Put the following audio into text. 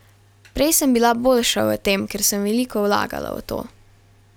Prej sem bila boljša v tem, ker sem veliko vlagala v to.